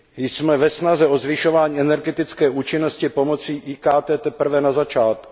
Jsme ve snaze o zvyšování energetické účinnosti pomocí IKT teprve na začátku.